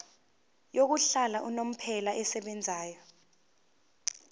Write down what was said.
yokuhlala unomphela esebenzayo